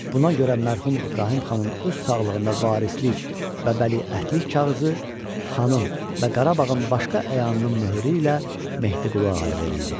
Buna görə mərhum İbrahim xanın öz sağlığında varislik və vəliəhdlik kağızı xanın və Qarabağın başqa əyanının möhürü ilə Mehdiqulu Ağaya verildi.